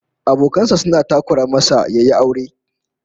Abokan sa suna takura masa yayi aure